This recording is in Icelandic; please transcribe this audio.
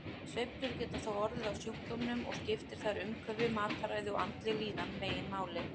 Sveiflur geta þó orðið á sjúkdómnum og skiptir þar umhverfi, mataræði og andleg líðan meginmáli.